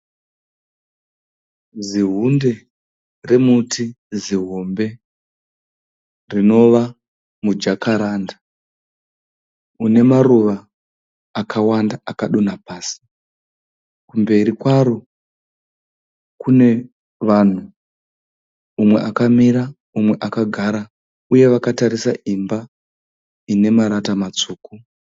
Zihunde rekuti zihombe rinova mujakaranda, une maruva akawanda akadonha pasi. Kumberi kwaro kune vanhu, mumwe akamira mumwe akagara uye vakatarisa imba ine marata matsvuku